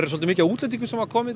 svolítið mikið af útlendingum sem koma